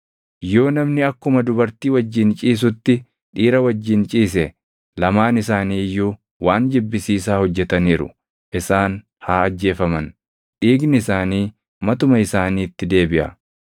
“ ‘Yoo namni akkuma dubartii wajjin ciisutti dhiira wajjin ciise lamaan isaanii iyyuu waan jibbisiisaa hojjetaniiru. Isaan haa ajjeefaman; dhiigni isaanii matuma isaaniitti deebiʼa.